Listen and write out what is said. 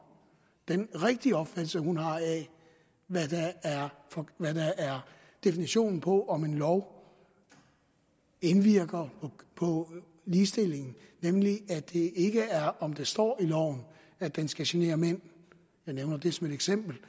den rigtige opfattelse hun har af hvad der er definitionen på om en lov indvirker på ligestillingen nemlig at det ikke er om det står i loven at den skal genere mænd jeg næver det som et eksempel